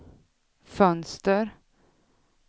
fönster